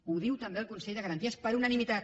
ho diu també el consell de garanties per unanimitat